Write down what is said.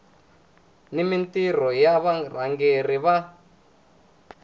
ni mintirho ya varhangeri va